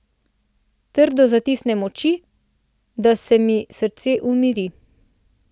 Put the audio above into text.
Trdno zatisnem oči, da se mi srce umiri.